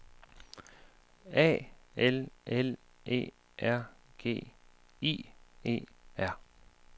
A L L E R G I E R